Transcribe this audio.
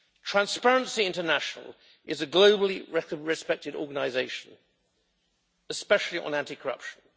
Transparency International is a globally respected organisation, especially on anti corruption.